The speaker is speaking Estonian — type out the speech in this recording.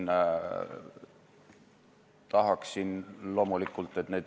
Ja tihti tulemust ikka ei ole.